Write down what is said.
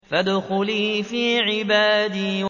فَادْخُلِي فِي عِبَادِي